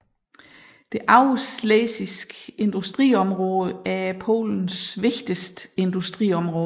Det øvreschlesiske Industriområde er Polens vigtigste industriområde